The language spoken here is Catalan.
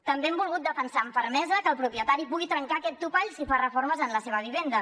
també hem volgut defensar amb fermesa que el propietari pugui trencar aquest topall si fa reformes en la seva vivenda